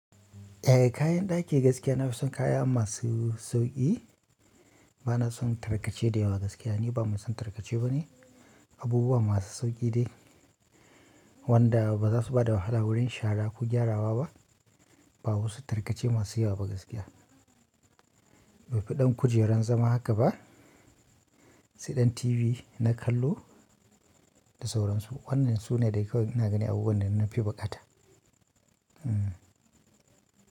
Eh, kayan ɗaki gaskiya na fi son kaya masu sauƙi. Banason tarkace dayawa ni gaskiya ba mai son tarkace bane. Abubuwa masu sauƙi de wanda ba za su ba da wahala wurin shara ko gyarawa ba. Ba wasu tarkace masu yawa ba gaskiya. To kudin kujerar zama haka ba sai dan TV na kallo da sauransu. Wannan su ne dai kawai ina gani abubuwan da nafi buƙata. Hmm.